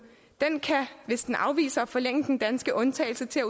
kan afvise at forlænge den danske undtagelse til